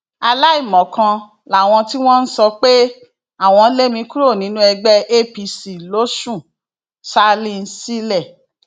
aláìmọkan làwọn tí wọn ń sọ pé àwọn lé mi kúrò nínú ẹgbẹ apc losùn salinsilẹ